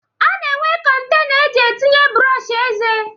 A na-enwe kọntena eji etinye brọọshị eze